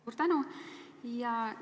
Suur tänu!